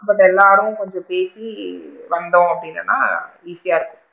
But எல்லாரும் கொஞ்சம் பேசி வந்தோம் அப்படின்னு சொன்னா easy யா இருக்கும்.